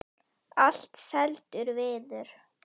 Allt seldur viður.